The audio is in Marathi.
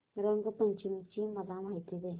रंग पंचमी ची मला माहिती दे